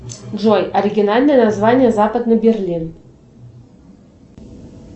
джой оригинальное название западный берлин